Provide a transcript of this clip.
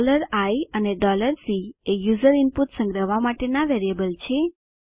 i અને C એ user input સંગ્રહવા માટેના વેરિયેબલ છે